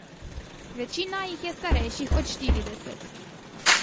Večina jih je starejših od štirideset.